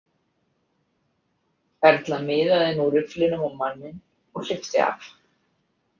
Erla miðaði nú rifflinum á manninn og hleypti af.